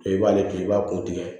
I b'ale to i b'a ko tigɛ